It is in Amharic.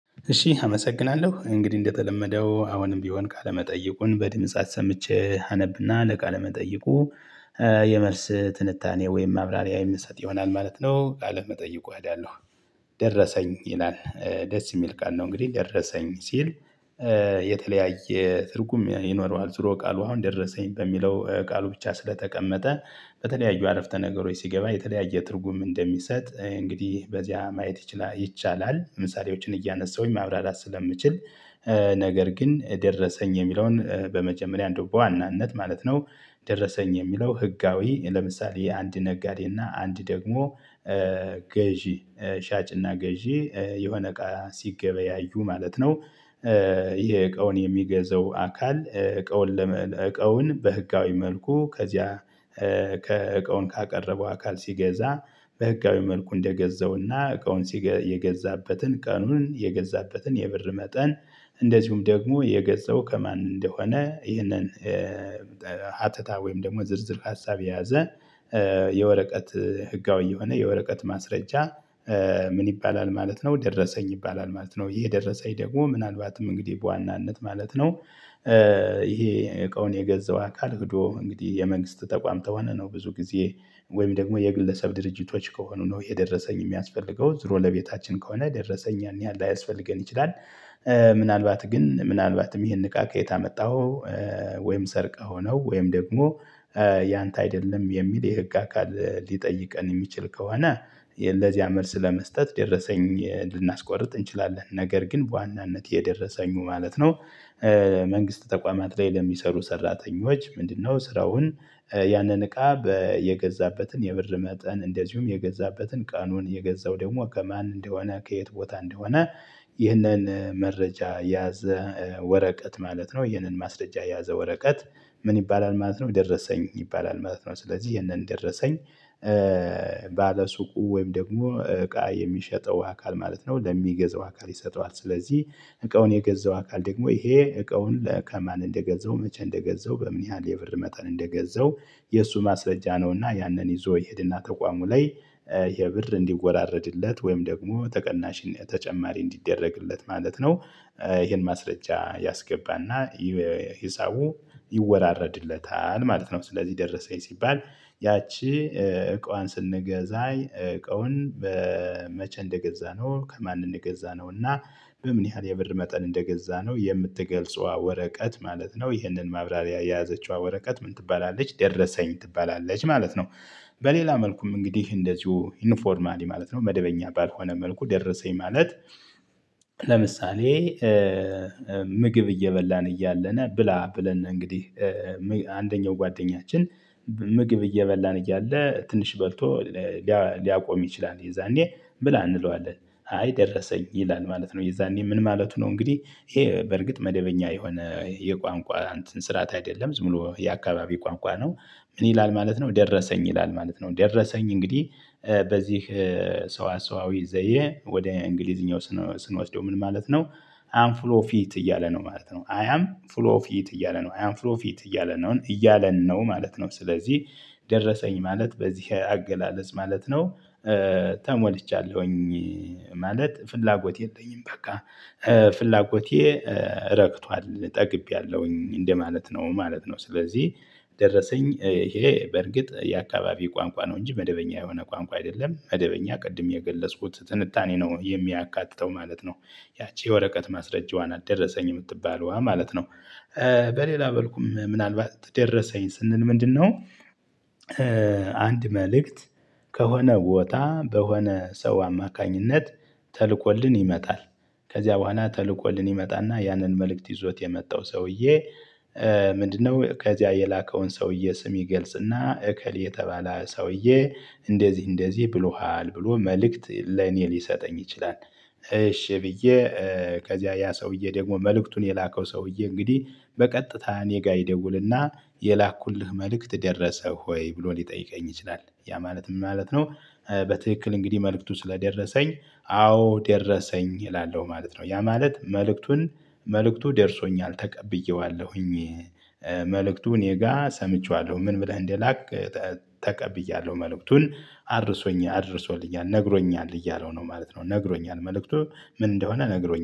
እሺ አመሰግናለሁ እንግዲህ እንደተለመደው አሁንም ቢሆን ቃለመጠይቁን በድምጽ አሰምቼ አነብና ለቃለመጠይቁ የመልስ ትንታኔ ወይም ማብራሪያ የምሰጥ ይሆናል ማለት ነው ቃለ መጠየቁ እሄለሁ። ይላል ደስ የሚል ቃል ነው እንግዲህ ደረሰኝ ሲል። የተለያየ ትርጉም ይኖረዋል ዙሮ ቃሉ አሁን ደረሰኝ በሚለው ቃሉ ብቻ ስለተቀመጠ በተለያዩ አረፍተ ነገሮች ሲገባ የተለያየ ትርጉም እንደሚሰጥ እንግዲህ በዚያ ማየት ይቻላል። ለምሳሌዎችን እያነሳሁኝ ማብራራት ስለምችል ነገር ግን ደረሰኝ የሚለውን በመጀመሪያ እንደው በዋናነት ማለት ነው። ደረሰኝ የሚለው ህጋዊ ለምሳሌ የአንድ ነጋዴ እና አንድ ደግሞ ገዢ ሻጭና ገዢ የሆነ እቃ ሲገበያዩ ማለት ነው። ይሄ እቃውን የሚገዛው አካል እቃውን ለመለወጥ እቃውን በህጋዊ መልኩ ከዚያ ከእቃውን ካቀረበው አካል ሲገዛ። በህጋዊ መልኩ እንደገዛውና እቃውን ሲገዛ የገዛበትን ቀኑን የገዛበትን የብር መጠን። እንደዚሁም ደግሞ የገዛው ከማን እንደሆነ ይህንን ሀተታ ወይም ደግሞ ዝርዝር ሀሳብ የያዘ የወረቀት ህጋዊ የሆነ የወረቀት ማስረጃ። ምን ይባላል ማለት ነው? ደረሰኝ ይባላል ማለት ነው። ይሄ ደረሰኝ ደግሞ ምናልባትም እንግዲህ በዋናነት ማለት ነው። ይሄ እቃውን የገዛው አካል ሂዶ እንግዲህ የመንግስት ተቋም ከሆነ ነው ብዙ ጊዜ ወይም ደግሞ የግለሰብ ድርጅቶች ከሆኑ ነው የደረሰኝ የሚያስፈልገው ዙሮ ለቤታችን ከሆነ ደረሰኝ ያን ያህል ላያስፈልገን ይችላል። ምናልባት ግን ምናልባትም ይህን እቃ ከየት አመጣኸው? ወይም ሰርቀኸው ነው ወይም ደግሞ ያንተ አይደለም የሚል የህግ አካል ሊጠይቀን የሚችል ከሆነ። ለዚያ መልስ ለመስጠት ደረሰኝ ልናስቆርጥ እንችላለን ነገር ግን በዋናነት የደረሰኙ ማለት ነው። መንግስት ተቋማት ላይ ለሚሰሩ ሰራተኞች ምንድነው? ስራውን ያንን እቃ የገዛበትን የብር መጠን እንደዚሁም የገዛበትን ቀኑን የገዛው ደግሞ ከማን እንደሆነ ከየት ቦታ እንደሆነ። ይህንን መረጃ የያዘ ወረቀት ማለት ነው ይህንን ማስረጃ የያዘ ወረቀት ምን ይባላል ማለት ነው? ደረሰኝ ይባላል ማለት ነው። ስለዚህ ይሄንን ደረሰኝ ባለሱቁ ወይም ደግሞ እቃ የሚሸጠው አካል ማለት ነው ለሚገዛው አካል ይሰጠዋል። ስለዚህ እቃውን የገዛው አካል ደግሞ ይሄ እቃውን ከማን እንደገዛው መቼ እንደገዛው በምን ያህል የብር መጠን እንደገዛው። የእሱ ማስረጃ ነውና ያንን ይዞ ይሄድና ተቋሙ ላይ ይሄ ብር እንዲወራረድለት ወይም ደግሞ ተቀናሽ ተጨማሪ እንዲደረግለት ማለት ነው። ይሄን ማስረጃ ያስገባና ሂሳቡ ይወራረድለታል ማለት ነው። ስለዚህ ደረሰኝ ሲባል ያቺ እቃዋን ስንገዛኝ እቃውን በመቼ እንደገዛነው ነው ከማን እንደገዛ ነው እና በምን ያህል የብር መጠን እንደገዛ ነው የምትገልጸው ወረቀት ማለት ነው። ይህንን ማብራሪያ የያዘችዋ ወረቀት ምን ትባላለች? ደረሰኝ ትባላለች ማለት ነው። በሌላ መልኩም እንግዲህ እንደዚሁ ዩኒፎርማሊ ማለት ነው መደበኛ ባልሆነ መልኩ ደረሰኝ ማለት። ለምሳሌ ምግብ እየበላን እያለን ብላ ብለን ነው። እንግዲህ አንደኛው ጓደኛችን ምግብ እየበላን እያለ ትንሽ በልቶ ሊያቆም ይችላል። የዛኔ ብላ እንለዋለን አይ ደረሰኝ ይላል ማለት ነው። የዛኔ ምን ማለቱ ነው? እንግዲህ ይሄ በርግጥ መደበኛ የሆነ የቋንቋ እንትን ስርዓት አይደለም ዝም ብሎ የአካባቢ ቋንቋ ነው። ምን ይላል ማለት ነው? ደረሰኝ ይላል ማለት ነው። ደረሰኝ እንግዲህ በዚህ ሰው አሰዋዊ ዘየ ወደ እንግሊዝኛው ስንወስደው ምን ማለት ነው? አንፍሎ ፊት እያለ ነው ማለት ነው። አይ አም ፍሎ ፊት እያለ ነው አይ አም ፍሎ ፊት እያለ ነው እያለ ነው ማለት ነው። ስለዚህ ደረሰኝ ማለት በዚህ አገላለጽ ማለት ነው። ተሞልቻለሁኝ ማለት ፍላጎቴ የለኝም። በቃ ፍላጎቴ ረግቷል ጠግቤያለሁኝ ማለት ነው። እንደማለት ነው ስለዚህ ደረሰኝ ይሄ በርግጥ የአካባቢ ቋንቋ ነው እንጂ መደበኛ የሆነ ቋንቋ አይደለም መደበኛ ቅድም የገለጽኩት ትንታኔ ነው የሚያካትተው ማለት ነው። ያቺ የወረቀት ማስረጃዋ ናት ደረሰኝ የምትባለው ማለት ነው። በሌላ መልኩም ምናልባት ደረሰኝ ስንል ምንድነው? አንድ መልእክት ከሆነ ቦታ በሆነ ሰው አማካኝነት ተልኮልን ይመጣል። ከዚያ በኋላ ተልኮልን ይመጣና ያንን መልእክት ይዞት የመጣው ሰውዬ። ምንድነው ከዚያ የላከውን ሰውዬ ስም ይገልጽና እከሌ የተባለ ሰውዬ እንደዚህ እንደዚህ ብሎሃል ብሎ መልእክት ለኔ ሊሰጠኝ ይችላል። እሺ ብዬ ከዚያ ያ ሰውዬ ደግሞ መልእክቱን የላከው ሰውዬ እንግዲህ በቀጥታ እኔ ጋር ይደውልና የላኩልህ መልእክት ደረሰህ ሆይ ብሎ ሊጠይቀኝ ይችላል ያ ማለት ምን ማለት ነው? በትክክል እንግዲህ መልእክቱ ስለደረሰኝ አዎ ደረሰኝ እላለሁ ማለት ነው። ያ ማለት መልእክቱን መልእክቱ ደርሶኛል። ተቀብየዋለሁኝ መልእክቱ እኔ ጋር ሰምቼዋለሁ ምን ብለህ እንደላክ? ተቀብያለሁ መልእክቱን አድርሶኝ አድርሶኛል ነግሮኛል እያለው ነው ማለት ነው። ነግሮኛል መልእክቱ ምን እንደሆነ ነግሮኛል